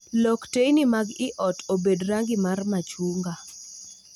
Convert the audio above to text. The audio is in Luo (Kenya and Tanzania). lok teyni mag i ot obed rangi mar machunga